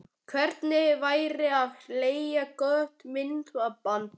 Hvernig væri að leigja gott myndband?